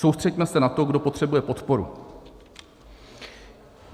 Soustřeďme se na to, kdo potřebuje podporu.